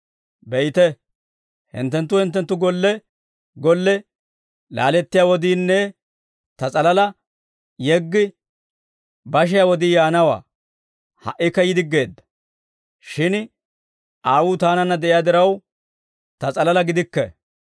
Be'ite, hinttenttu hinttenttu golle golle laalettiyaa wodiinne Ta s'alalaa yeggi bashiyaa wodii yaanawaa; ha"ikka yi diggeedda. Shin Aawuu Taananna de'iyaa diraw, Ta s'alalaa gidikke.